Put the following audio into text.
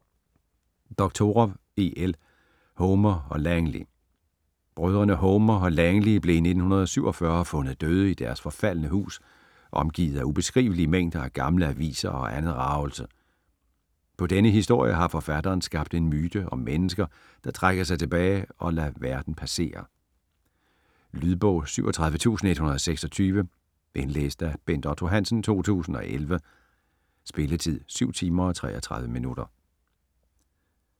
Doctorow, E. L.: Homer og Langley Brødrene Homer og Langley blev i 1947 fundet døde i deres forfaldne hus omgivet af ubeskrivelige mængder af gamle aviser og andet ragelse. På denne historie har forfatteren skabt en myte om mennesker, der trækker sig tilbage og lader verden passere. Lydbog 37126 Indlæst af Bent Otto Hansen, 2011. Spilletid: 7 timer, 33 minutter.